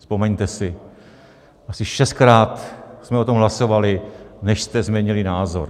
Vzpomeňte si, asi šestkrát jsme o tom hlasovali, než jste změnili názor.